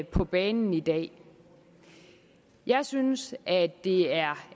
på banen i dag jeg synes at det er